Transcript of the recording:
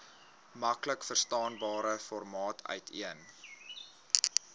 maklikverstaanbare formaat uiteen